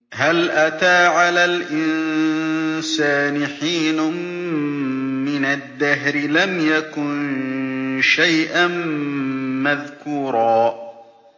هَلْ أَتَىٰ عَلَى الْإِنسَانِ حِينٌ مِّنَ الدَّهْرِ لَمْ يَكُن شَيْئًا مَّذْكُورًا